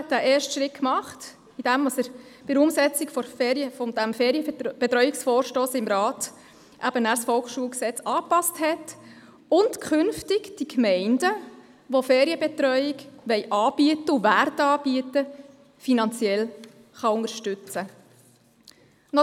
Er hat den ersten Schritt getan, indem er bei der Umsetzung dieses Ferienbetreuungsvorstosses im Rat das VSG angepasst hat und künftig diejenigen Gemeinden, die eine Ferienbetreuung anbieten möchten und werden, finanziell unterstützen kann.